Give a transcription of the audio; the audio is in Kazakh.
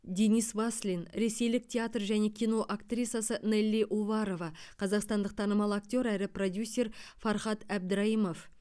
денис васлин ресейлік театр және кино актрисасы нелли уварова қазақстандық танымал актер әрі продюсер фархат әбдірайымов